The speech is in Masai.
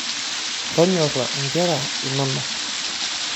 Tonyora inera inonok.